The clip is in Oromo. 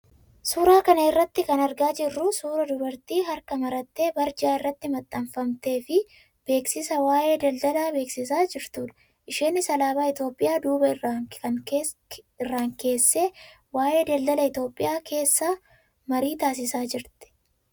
Suuraa kana irraa kan argaa jirru suuraa dubartii harka marattee barjaa irratti maxxanfamtee fi beeksisa waayee daldalaa beeksisaa jirtudha. Isheenis alaabaa Itoophiyaa duuba irraan keessee waayee daldala Itoophiyaa keessaa marii taasisaa jirti.